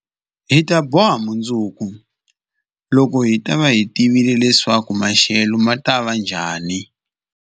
Hi ta boha mundzuku, loko hi ta va hi tivile leswaku maxelo ma ta va njhani.